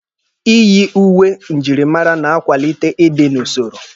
Iyi uwe njirimara na-akwalite ịdị n'usoro.